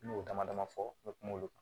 N y'o dama dama fɔ n bɛ kuma olu kan